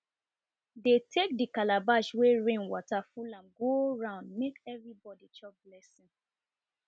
dey take de calabash wey rain water full am go round make everybody chop blessing